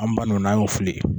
An ba ninnu na an y'o fili